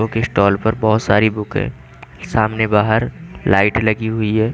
Book stall पर बहोत सारी बुक है सामने बहार लाइट लगी हुई है।